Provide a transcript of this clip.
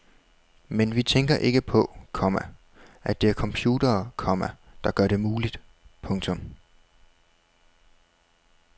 Men vi tænker ikke på, komma at det er computere, komma der gør det muligt. punktum